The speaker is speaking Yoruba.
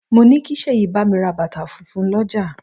Mo ní kí Sèyí bámi ra bàtà funfun l'ọja